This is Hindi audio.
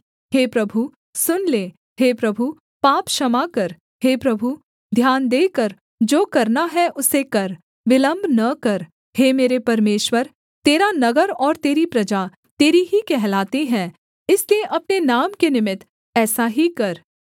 हे प्रभु सुन ले हे प्रभु पाप क्षमा कर हे प्रभु ध्यान देकर जो करना है उसे कर विलम्ब न कर हे मेरे परमेश्वर तेरा नगर और तेरी प्रजा तेरी ही कहलाती है इसलिए अपने नाम के निमित्त ऐसा ही कर